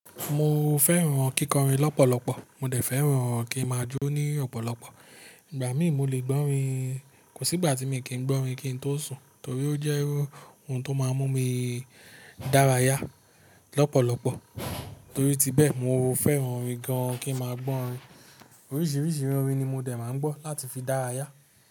Mo fẹ́ràn kíkọrin lọ́pọ̀lọpọ̀, mo dẹ̀ fẹ́ràn kí ń má jó ní ọ̀pọ̀lọpọ̀. Ìgbà mí mo lè gbọ́rin, kò sí ìgbà tí mi kì ń gbọ́rin kí n tó sùn torí ó jẹ́ oun tó máa ń mú mi dárayá lọ́pọ̀lọpọ̀. Torí ti bẹ́ẹ̀, mo fẹ́ràn orin gan-an kí ń máa gbọ orin. Oríṣiríṣi irú orin ni mo dẹ̀ máa ń gbọ́ láti fi dárayá.